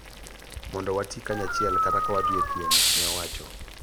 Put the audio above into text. mondo wati kanyachiel kata ka wadhi e piem, ne owacho.